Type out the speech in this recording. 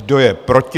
Kdo je proti?